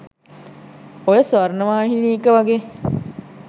ඔය ස්වර්ණවාහිනී එක වගේ